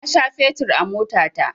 Na sha fetur a motana